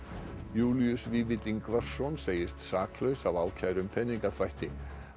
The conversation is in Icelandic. Júlíus Vífill Ingvarsson segist saklaus af ákæru um peningaþvætti